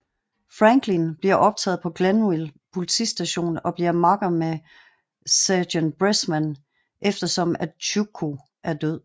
Franklin bliver optaget på Glenville Politistation og bliver makker med sergent Bressman efter som at Chucho er død